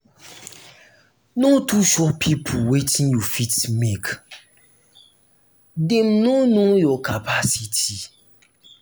no too show pipo wetin you fit do make dem no know your capacity.